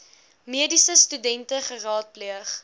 mediese studente geraadpleeg